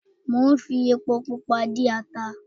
Mo ń fi epo pupa dín ata